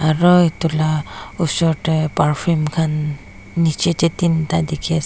aru etu laga osor tae purfume khan nichey tae tinta dekhi--